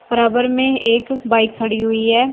बराबर में एक बाइक खड़ी हुई है।